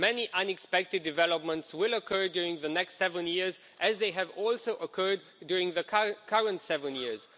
Many unexpected developments will occur during the next seven years, as they have also occurred during the current seven years.